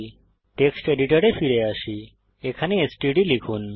text এডিটরে ফিরে আসি এখানে এসটিডি লিখুন